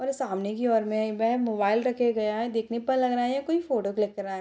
और सामने की ओर में एक ब मोबाइल रखे गए है देखने पर लग रहा है कोईं फोटो क्लिक कर रहा है।